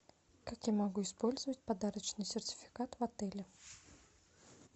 как я могу использовать подарочный сертификат в отеле